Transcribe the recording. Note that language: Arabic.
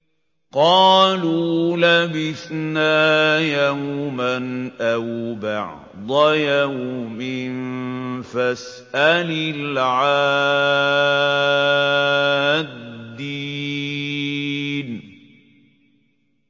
قَالُوا لَبِثْنَا يَوْمًا أَوْ بَعْضَ يَوْمٍ فَاسْأَلِ الْعَادِّينَ